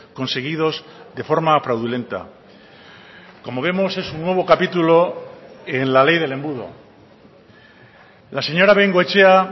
conseguidos de forma fraudulenta como vemos es un nuevo capítulo en la ley del embudo la señora bengoechea